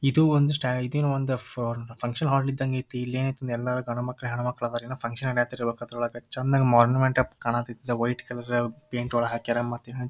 ಇದು ಒಂದು ಫ ಫಂಕ್ಷನ್ ಹಾಲ್ ಇದಂಗ ಐತಿ ಇಲ್ಲೇ ಏನ್ ಐತಿ ಎಲ್ಲರ್ ಗಂಡ ಮಕ್ಕಳ್ ಹೆಣ್ಣ ಮಕ್ಕಳ್ ಅದರೇನೋ ಫಂಕ್ಷನ್ ನಡೆತಿರಬೇಕು ಅದ್ರ ಒಳಗ್ ಚಂದಾಗಿ ಮೊಡಿಂಮೆಂಟಪ್ ಕಾಣಕತ್ತತಿ ವೈಟ್ ಕಲರ್ ಪೈಂಟ್ ಒಳಗ್ ಹಾಕ್ಯಾರ ಮತ್ತ್--